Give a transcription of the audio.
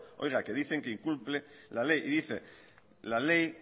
oiga que dicen que incumple la ley y dice la ley